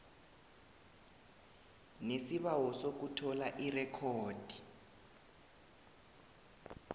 nesibawo sokuthola irekhodi